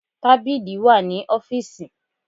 Tábìlì wà ní ọ́fíìsì.